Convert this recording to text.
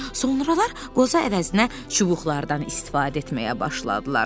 Sonralar qoza əvəzinə çubuqlardan istifadə etməyə başladılar.